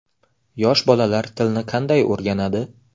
Yosh bolalar tilni qanday o‘rganadi?